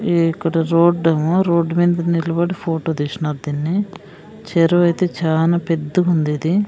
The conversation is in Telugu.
ఈ ఇక్కడ రోడ్ ఏమో రోడ్ మింద నిలబడి ఫోటో తీశ్నారు దీన్ని చెరువైతే చానా పెద్దగుంది ఇది.